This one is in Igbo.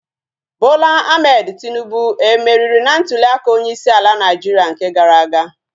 Bola Ahmed Tinubu e meriri na ntuliaka onyeisi ala Naịjiria nke gara aga?